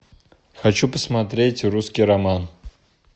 хочу посмотреть русский роман